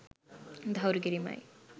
තහවුරු කිරීමයි.